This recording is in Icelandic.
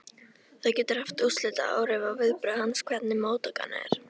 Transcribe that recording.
Það getur haft úrslitaáhrif á viðbrögð hans, hvernig móttakan er.